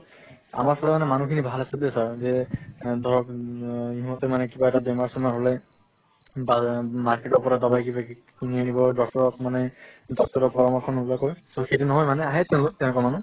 আমাৰ তাত মানে মানুহ খিনি ভাল আছে দে sir যে এ ধৰক ইহঁতে মানে কিবা এটা বেমাৰ চেমাৰ হʼলে বাজে market ৰ পৰা দবাই কিবা কিবি কিনি আনিব doctor ক মানে doctor ৰৰ পৰামৰ্শ নোলোৱাকৈ। so সেইটো নহয় মানে আহে তেওঁলোক তেনেকুৱা মানুহ